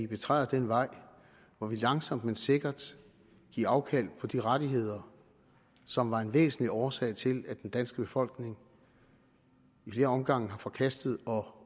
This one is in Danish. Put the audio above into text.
betræder den vej hvor man langsomt men sikkert giver afkald på de rettigheder som var en væsentlig årsag til at den danske befolkning i flere omgange har forkastet